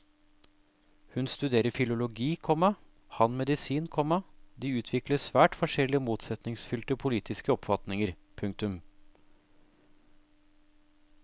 Hun studerer filologi, komma han medisin, komma de utvikler svært forskjellige og motsetningsfylte politiske oppfatninger. punktum